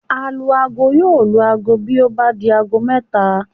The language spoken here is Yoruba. Alu-aago yóò lu aago bí ó bá di aago mẹ́ta